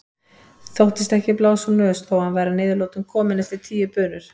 Þóttist ekki blása úr nös þó að hann væri að niðurlotum kominn eftir tíu bunur.